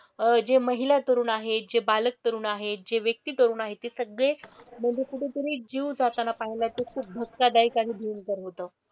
अह जे महिला तरुण आहे, जे बालक तरुण आहे, जे व्यक्ती तरुण आहे ते सगळे म्हणजे कुठेतरी जीव जाताना पाहिलाय. तो खूप धक्कादायक आणि भयंकर होता.